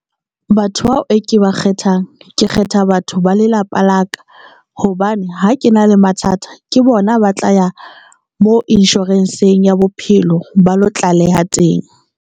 Batho bao e ke ba kgethang ke kgetha batho ba lelapa la ka hobane ha ke na le mathata, ke bona ba tla ya mo insurance-ng ya bophelo ba lo tlaleha teng.